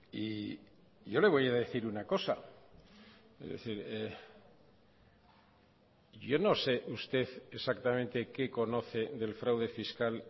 y yo le voy a decir una cosa es decir yo no sé usted exactamente qué conoce del fraude fiscal